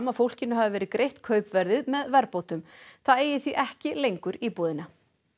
að fólkinu hafi verið greitt kaupverðið með verðbótum það eigi því ekki lengur íbúðina